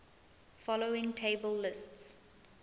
following table lists